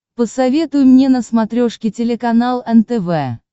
посоветуй мне на смотрешке телеканал нтв